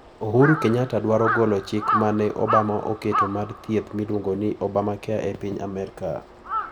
Uhuru Kenyatta dwaro golo chik ma ne Obama oketo mar thieth miluongo ni Obamacare e piny Amerka.